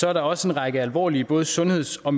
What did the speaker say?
er der også en række alvorlige både sundheds og